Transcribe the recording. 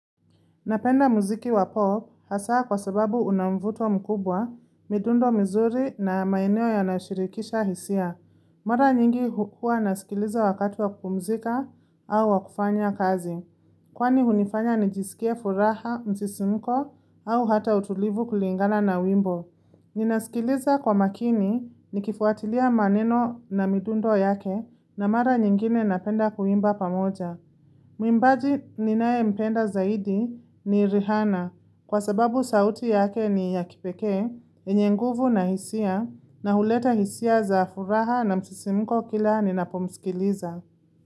Napenda muziki wa pop hasa kwa sababu una mvuto mkubwa, midundo mizuri na maeneo yanayoshirikisha hisia. Mara nyingi huwa nasikiliza wakatu wa kupumzika au wa kufanya kazi. Kwani hunifanya nijisikie furaha, msisimko au hata utulivu kulingana na wimbo. Ninasikiliza kwa makini nikifuatilia maneno na midundo yake na mara nyingine napenda kuimba pamoja. Mwimbaji ninaempenda zaidi ni Rihana kwa sababu sauti yake ni ya kipeke, yenye nguvu na hisia na huleta hisia za furaha na msisimko kila ninapomsikiliza.